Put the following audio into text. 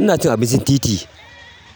Ina cin abincin titi,